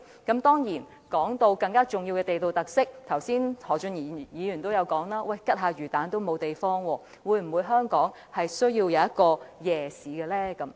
談到更重要的地道特色，剛才何俊賢議員說連買串魚蛋吃也沒有地方，香港是否需要一個夜市呢？